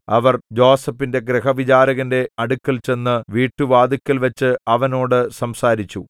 അവർ യോസേഫിന്റെ ഗൃഹവിചാരകന്റെ അടുക്കൽ ചെന്ന് വീട്ടുവാതിൽക്കൽവച്ച് അവനോട് സംസാരിച്ചു